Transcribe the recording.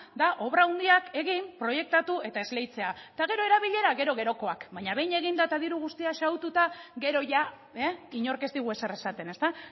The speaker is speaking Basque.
da obra handiak egin proiektatu eta esleitzea eta gero erabilera gero gerokoak baina behin eginda eta diru guztia xahututa gero ia inork ez digu ezer esaten ezta